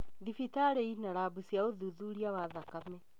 Thibitarĩ ina rambu cia ũthuthuria wa thakame